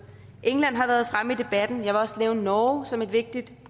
england har været fremme i debatten og jeg vil også nævne norge som et vigtigt